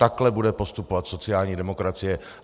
Takhle bude postupovat sociální demokracie.